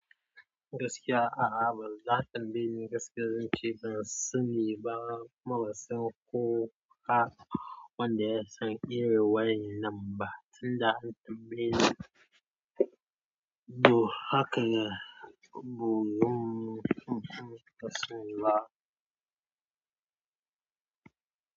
Gaskiya a'a ba zan tambaye ni gaskiya zan ce ban sani ba marasa kuka wanda ya san ire waya nan ba tunda an tambaye ni. To haka ya, buym kasani ba.